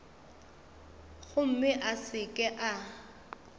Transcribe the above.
gomme a se ke a